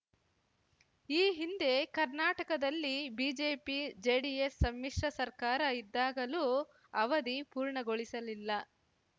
ಈ ಹಿಂದೆ ಕರ್ನಾಟಕದಲ್ಲಿ ಬಿಜೆಪಿಜೆಡಿಎಸ್ ಸಮ್ಮಿಶ್ರ ಸರ್ಕಾರ ಇದ್ದಾಗಲೂ ಅವಧಿ ಪೂರ್ಣಗೊಳಿಸಲಿಲ್ಲ